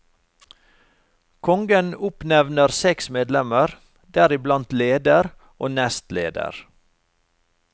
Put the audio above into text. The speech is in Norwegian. Kongen oppnevner seks medlemmer, deriblant leder og nestleder.